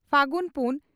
ᱯᱷᱟᱹᱜᱩᱱ ᱯᱩᱱ